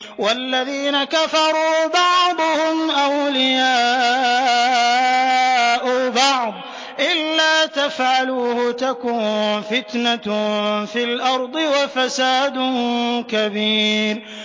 وَالَّذِينَ كَفَرُوا بَعْضُهُمْ أَوْلِيَاءُ بَعْضٍ ۚ إِلَّا تَفْعَلُوهُ تَكُن فِتْنَةٌ فِي الْأَرْضِ وَفَسَادٌ كَبِيرٌ